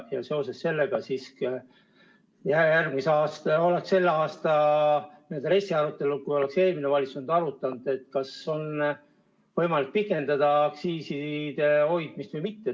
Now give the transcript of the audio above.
Ja seoses sellega, kui oleks eelmine valitsus olnud, oleks selle aasta RES-i arutelul arutatud, kas on võimalik pikendada aktsiiside hoidmist või mitte.